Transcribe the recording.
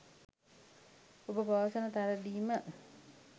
ඔබ පවසන පරිදිම